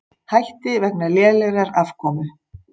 Hætti vegna lélegrar afkomu